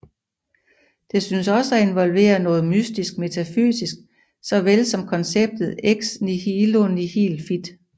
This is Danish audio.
Det synes også at involvere noget mystisk metafysik såvel som konceptet ex nihilo nihil fit